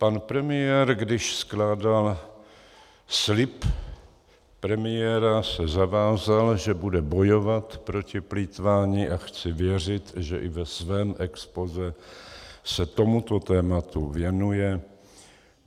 Pan premiér, když skládal slib premiéra, se zavázal, že bude bojovat proti plýtvání, a chci věřit, že i ve svém expozé se tomuto tématu věnuje.